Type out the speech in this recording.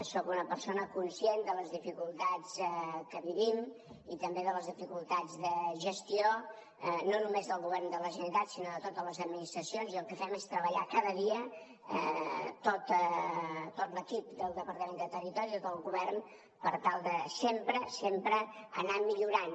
soc una persona conscient de les dificultats que vivim i també de les dificultats de gestió no només del govern de la generalitat sinó de totes les administracions i el que fem és treballar cada dia tot l’equip del departament de territori tot el govern per tal de sempre sempre anar millorant